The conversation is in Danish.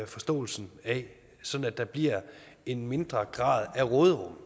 forståelsen af sådan at der bliver en mindre grad af råderum